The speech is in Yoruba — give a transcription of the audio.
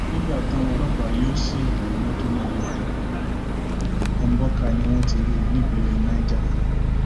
nígbà táwọn ọlọpàá yóò sì rí mọtò náà lóòótọ mbọkà ni wọn ti rí i nípínlẹ niger